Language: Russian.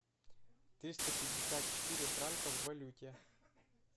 триста пятьдесят четыре франка в валюте